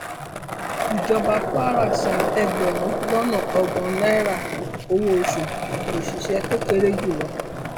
ìjọba kwara san ẹgbẹrún lọnà ọgbọn náírà owóoṣù òṣìṣẹ tó kéré jù lọ